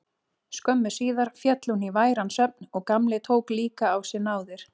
Skömmu síðar féll hún í væran svefn og Gamli tók líka á sig náðir.